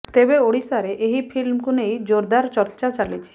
ତେବେ ଓଡ଼ିଶାରେ ଏହି ଫିଲ୍ମକୁ ନେଇ ଜୋରଦାର ଚର୍ଚା ଚାଲିଛି